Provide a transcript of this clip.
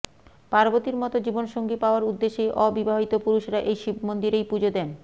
পার্বতীর মত জীবনসঙ্গী পাওয়ার উদ্দেশেই অবিবাহিত পুরুষেরা এই শিব মন্দিরেই পুজো দেন